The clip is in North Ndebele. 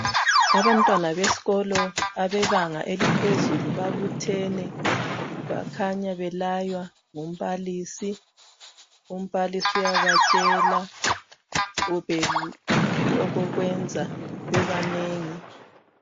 Abantwana besikolo abebanga eliphezulu babuthene bakhaya bayalaywa ngumbalisi. Umbalisi uyabatshela kumbe okokwenza bebanengi